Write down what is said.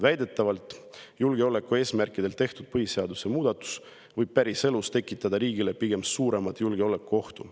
Väidetavalt julgeolekueesmärkidel tehtud põhiseaduse muudatus võib päriselus tekitada riigile pigem suuremat julgeolekuohtu.